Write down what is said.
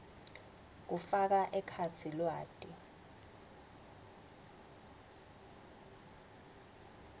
kufaka ekhatsi lwati